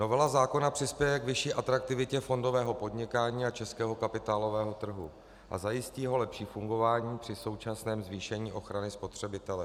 Novela zákona přispěje k vyšší atraktivitě fondového podnikání a českého kapitálového trhu a zajistí jeho lepší fungování při současném zvýšení ochrany spotřebitele.